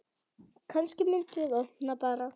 Kannski myndum við opna bar.